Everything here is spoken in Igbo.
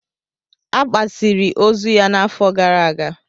A gbasiri ozu ya n'afọ gara aga.